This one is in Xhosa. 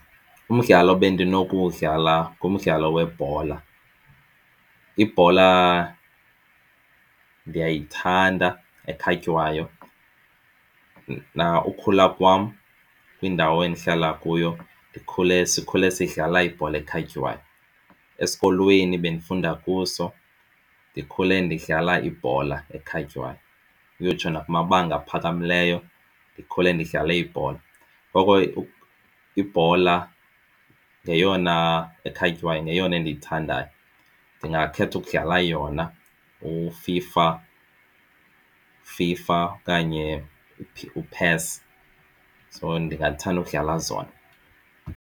Umdlalo bendinokuwudlala ngumdlalo webhola. Ibhola ndiyayithanda ekhatywayo ukukhula kwam kwindawo endihlala kuyo sikhule sidlala ibhola ekhatywayo. Esikolweni bendifunda kuso ndikhule ndidlala ibhola ekhatywayo kuyotsho nakumabanga aphakamileyo. Ndikhule ndidlala ibhola ngoko ke ibhola ngeyona ekhatywayo ngeyona endiyithandayo. Ndingakhetha ukudlala yona uFIFA, uFIFA okanye uPES so ndingathanda ukudlala zona.